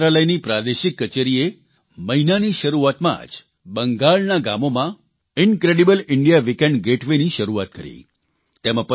પર્યટનમંત્રાલયની પ્રાદેશિક કચેરીએ મહિનાની શરૂઆતમાં જ બંગાળના ગામોમાં ઇન્ક્રેડિબલ ઇન્ડિયા વીકેન્ડ ગેટવે ની શરૂઆત કરી